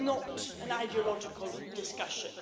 This is not an ideological discussion.